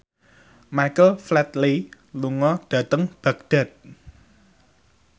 Michael Flatley lunga dhateng Baghdad